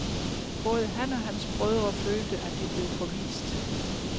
Både han og hans brødre følte, at de blev forvist.